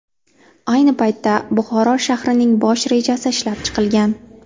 Ayni paytda Buxoro shahrining bosh rejasi ishlab chiqilgan.